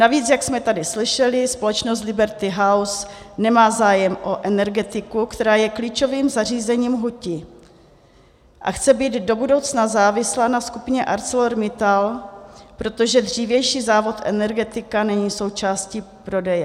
Navíc, jak jsme tady slyšeli, společnost Liberty House nemá zájem o Energetiku, která je klíčovým zařízením hutí, a chce být do budoucna závislá na skupině ArcelorMittal, protože dřívější závod Energetika není součástí prodeje.